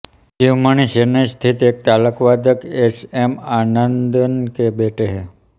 शिवमणि चेन्नई स्थित एक तालवादक एस एम आनंदन के बेटे हैं